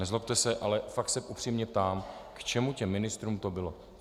Nezlobte se, ale fakt se upřímně ptám, k čemu těm ministrům to bylo.